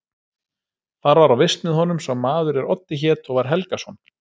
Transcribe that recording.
Þar var á vist með honum sá maður er Oddi hét og var Helgason.